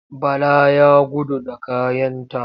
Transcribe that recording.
Bala ya gudu da kayanta.